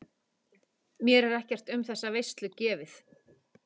Mér er ekkert um þessa veislu gefið.